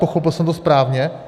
Pochopil jsem to správně?